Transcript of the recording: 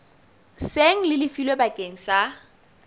seng le lefilwe bakeng sa